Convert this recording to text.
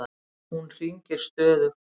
Hún hringir stöðugt.